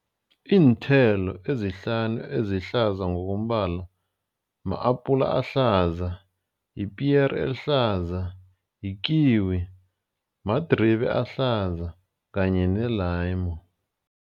Iinthelo ezihlanu ezihlaza ngokombala ma-apula ahlaza, yipiyere elihlaza, yi-kiwi, madribe ahlaza kanye ne-leamo.